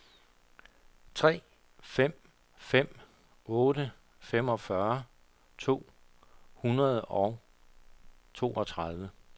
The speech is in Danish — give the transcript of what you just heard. tre fem fem otte femogfyrre to hundrede og toogtredive